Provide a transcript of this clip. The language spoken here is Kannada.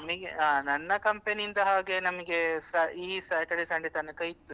ನಿ~ ಆ ನನ್ನ company ಯಿಂದ ಹಾಗೆ ನನಗೆ ಸ~ ಈ Saturday Sunday ತನಕ ಇತ್ತು.